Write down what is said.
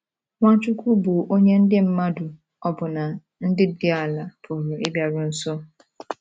Nwachukwu bụ onye ndị mmadụ, ọbụna ndị dị dị ala, pụrụ ịbịaru nso.